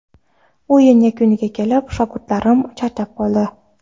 O‘yin yakuniga kelib, shogirdlarim charchab qoldi.